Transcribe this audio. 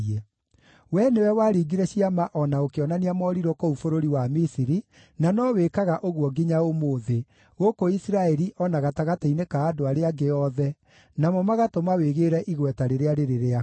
Wee nĩwe waringire ciama o na ũkĩonania morirũ kũu bũrũri wa Misiri, na no wĩkaga ũguo nginya ũmũthĩ, gũkũ Isiraeli o na gatagatĩ-inĩ ka andũ arĩa angĩ othe, namo magatũma wĩgĩĩre igweta rĩrĩa rĩrĩ rĩaku.